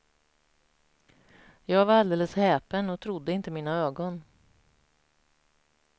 Jag var alldeles häpen och trodde inte mina ögon.